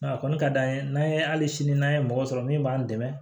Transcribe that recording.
Nka a kɔni ka d'an ye n'an ye hali sini n'an ye mɔgɔ sɔrɔ min b'an dɛmɛ